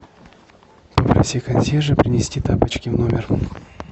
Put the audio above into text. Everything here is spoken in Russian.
попроси консьержа принести тапочки в номер